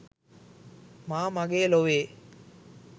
මා මගේ ලොවේ'